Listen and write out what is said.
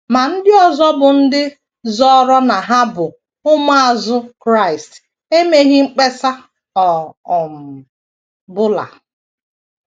Ma, ndị ọzọ bụ́ ndị zọọrọ na ha bụ ụmụazụ Kraịst emeghị mkpesa ọ um bụla.